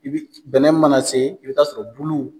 I bi bɛnɛ mana se i bi taa sɔrɔ bulu